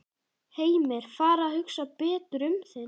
Heimir: Fara að hugsa betur um þig núna?